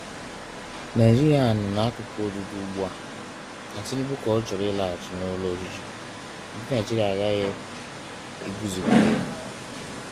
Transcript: Nigeria nọ n’akụkụ ọdụdọ ugbu a, na Tinubu ka chọrọ ịlaghachi n’ụlọ ọchịchị. Ndị Naịjịrịa aghaghị iguzogide ya